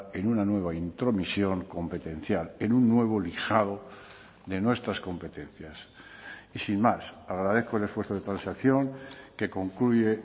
en una nueva intromisión competencial en un nuevo lijado de nuestras competencias y sin más agradezco el esfuerzo de transacción que concluye